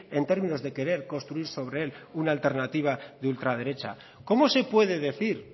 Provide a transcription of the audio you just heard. en términos de querer construir sobre él una alternativa de ultraderecha cómo se puede decir